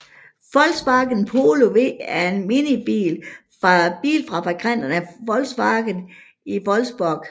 Volkswagen Polo V er en minibil fra bilfabrikanten Volkswagen i Wolfsburg